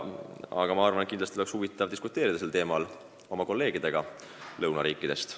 Aga ma arvan, et kindlasti oleks huvitav diskuteerida sel teemal oma kolleegidega lõunariikidest.